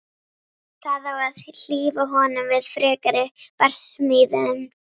Það á að hlífa honum við frekari barsmíðum.